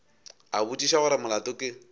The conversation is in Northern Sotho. a botšiša gore molato ke